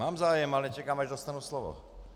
Mám zájem, ale čekám, až dostanu slovo.